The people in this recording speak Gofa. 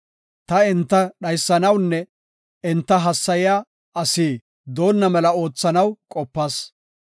Ta enta dhaysanawunne enta hassayiya asi doonna mela oothanaw qopas.